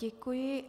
Děkuji.